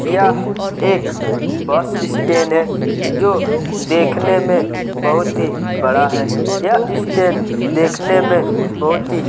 यह एक bus stand हैजो देखने में बहुत ही बड़ा है यह स्टैंड देखने में बहुत ही--